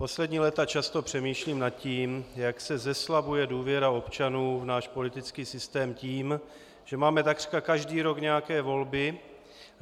Poslední léta často přemýšlím nad tím, jak se zeslabuje důvěra občanů v náš politický systém tím, že máme takřka každý rok nějaké volby.